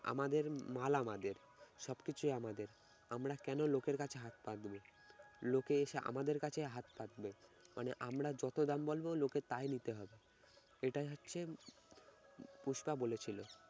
আমাদের মাল আমাদের সবকিছু আমাদের আমরা কেন লোকের কাছে হাত পাতবো? লোকে এসে আমাদের কাছে হাত পাতবে মানে আমরা যত দাম বলব লোকে তাই নিতে হবে এটাই হচ্ছে পুষ্পা বলেছিল।